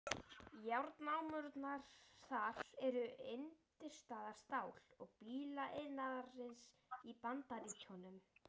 Járnnámurnar þar eru undirstaða stál- og bílaiðnaðarins í Bandaríkjunum.